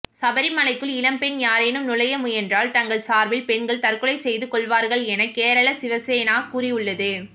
சபரிமலைக்குள் இளம்பெண் யாரேனும் நுழைய முயன்றால் தங்கள் சார்பில் பெண்கள் தற்கொலை செய்து கொள்வார்கள் என கேரள சிவசேனா கூறியுள்ளது